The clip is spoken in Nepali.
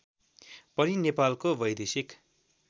पनि नेपालको वैदेशिक